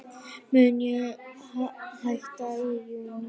Mun ég hætta í júní?